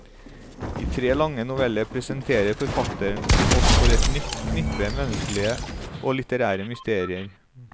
I tre lange noveller presenterer forfatteren oss for et nytt knippe menneskelige og litterære mysterier.